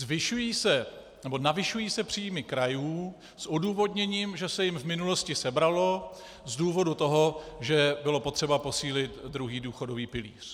Zvyšují se nebo navyšují se příjmy krajů s odůvodněním, že se jim v minulosti sebralo z důvodu toho, že bylo potřeba posílit druhý důchodový pilíř.